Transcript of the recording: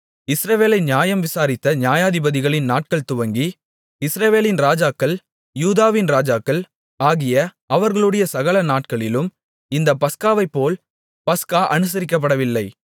இஸ்ரவேலை நியாயம் விசாரித்த நியாயாதிபதிகளின் நாட்கள் துவங்கி இஸ்ரவேலின் ராஜாக்கள் யூதாவின் ராஜாக்கள் ஆகிய அவர்களுடைய சகல நாட்களிலும் இந்தப் பஸ்காவைப்போல் பஸ்கா அனுசரிக்கப்படவில்லை